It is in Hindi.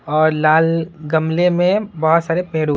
और लाल गमले में बहुत सारे पेड़ों --